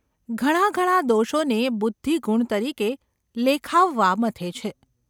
ઘણા ઘણા દોષોને બુદ્ધિ ગુણ તરીકે લેખાવવા મથે છે.